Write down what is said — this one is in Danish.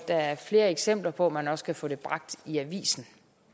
er flere eksempler på at man også kan få det bragt i avisen